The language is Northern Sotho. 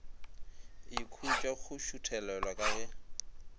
ikhutša go šuthelelwa ka ge